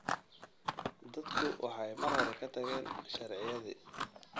Dadku waxay mar hore ka tageen shiraacyadii